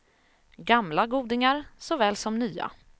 Gamla godingar så väl som nya.